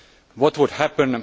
What would happen?